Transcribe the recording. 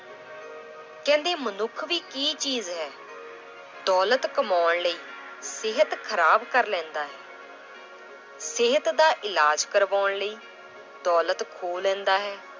ਕਹਿੰਦੇ ਮਨੁੱਖ ਵੀ ਕੀ ਚੀਜ਼ ਹੈ ਦੌਲਤ ਕਮਾਉਣ ਲਈ ਸਿਹਤ ਖ਼ਰਾਬ ਕਰ ਲੈਂਦਾ ਹੈ l ਸਿਹਤ ਦਾ ਇਲਾਜ਼ ਕਰਵਾਉਣ ਲਈ ਦੌਲਤ ਖੋਹ ਲੈਂਦਾ ਹੈ।